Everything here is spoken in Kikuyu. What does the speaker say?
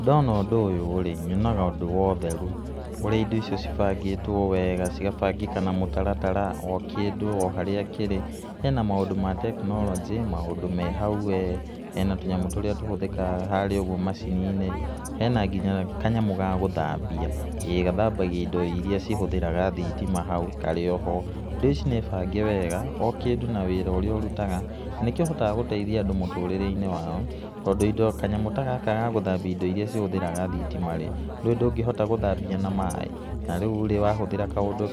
Ndona ũndũ ũyũ rĩ, nyonaga ũndũ wa ũtheru, ũrĩa indo icio cibangĩtwo wega, cigabangĩka na mũtaratara o kĩndũ o harĩa kĩrĩ, hena maũndũ ma tekinoronjĩ, maũndũ me hau we, hena tũnyamũ tũríĩ tũhũthĩkaga harĩa ũguo macini-inĩ, hena nginya kanyamũ ga gũthambia, ĩ gathambagia indo iria cihũthĩraga thitima, hau karĩ oho. Indo ici nĩ bange wega, o kĩndũ na wĩra ũríĩ ũrutaga, na nĩkĩhotaga gũteithia andũ mũtũrĩre-ine wao, tondũ kanyamũ ta gaka ga gũthambia ndo iria cihũthĩraga thitima ĩ nũĩ ndũngĩhota gũthambia na maĩ, na rĩu rĩ wahũthĩra